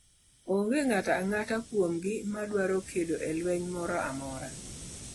Onge ng'ato ang'ata kuomgi madwaro kedo e lweny moro amora.